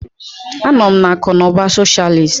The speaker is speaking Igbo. Anọ m na akụ na ụba socialist.